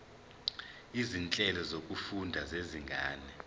izinhlelo zokufunda zezinga